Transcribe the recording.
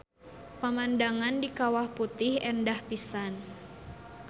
Pamandangan di Kawah Putih endah pisan.